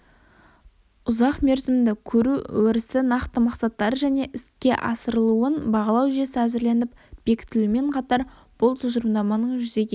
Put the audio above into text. ұзақ мерзімді көру өрісі нақты мақсаттары және іске асырылуын бағалау жүйесі әзірленіп бекітілуімен қатар бұл тұжырымдаманың жүзеге